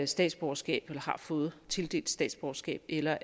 statsborgerskab eller har fået tildelt statsborgerskab eller